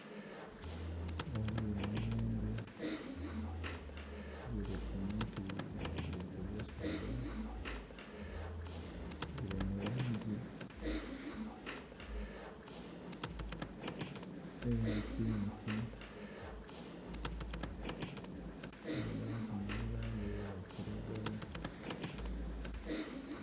Ghaligho emiyembe gili ku muti gili ku busaga gili mu langi eya pinki kwabaku nhi langi eya kilagala.